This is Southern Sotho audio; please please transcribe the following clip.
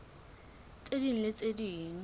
tse ding le tse ding